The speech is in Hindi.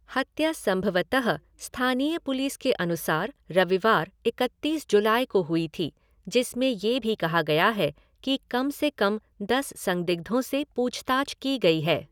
हत्या संभवतः स्थानीय पुलिस के अनुसार रविवार, इकतीस जुलाई को हुई थी जिसमें ये भी कहा गया है कि कम से कम दस संदिग्धों से पूछताछ की गई है।